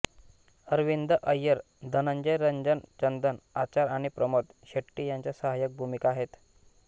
अरविंद अय्यर धनंजय रंजन चंदन आचार आणि प्रमोद शेट्टी यांच्या सहाय्यक भूमिका आहेत